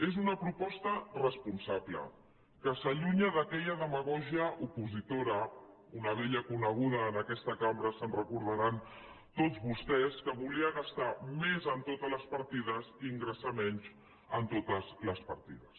és una proposta responsable que s’allunya d’aquella demagògia opositora una vella coneguda en aquesta cambra ho recordaran tots vostès que volia gastar més en totes les partides i ingressar menys en totes les partides